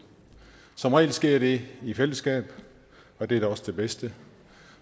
som regel sker det i fællesskab og det er da også det bedste